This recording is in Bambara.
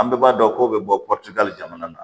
An bɛɛ b'a dɔn ko bɛ bɔ jamana na